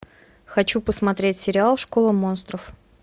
хочу посмотреть сериал школа монстров